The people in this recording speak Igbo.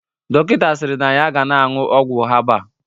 Dọkịta siri na ya ga na-aṅụ ọgwụ habal